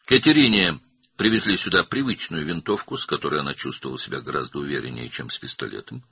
Katerinaya bura öyrəşdiyi tüfəngi gətirmişdilər, onunla özünü tapançadan daha inamlı hiss edirdi.